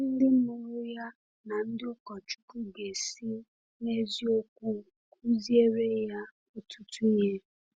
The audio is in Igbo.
Ndị mụrụ ya na ndị ụkọchukwu ga-esi n’eziokwu kụziere ya ọtụtụ ihe.